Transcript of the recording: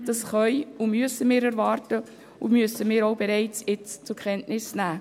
Das können und müssen wir erwarten, und wir müssen es auch bereits jetzt zur Kenntnis nehmen.